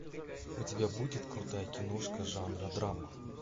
у тебя будет крутая киношка жанра драма